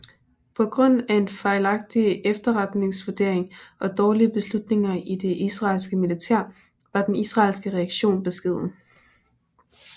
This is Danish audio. På grund af en fejlagtig efterretningsvurdering og dårlige beslutninger i det israelske militær var den israelske reaktion beskeden